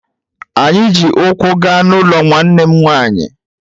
Anyị ji ụkwụ gaa n’ụlọ nwanne m nwanyị